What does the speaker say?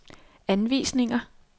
anvisninger